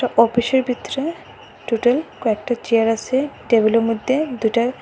অফিসের ভিতরে টোটাল কয়েকটা চেয়ার আসে টেবিলের মধ্যে দুইটা--